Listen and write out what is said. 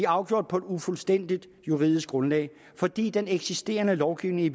afgjort på et ufuldstændigt juridisk grundlag fordi den eksisterende lovgivning i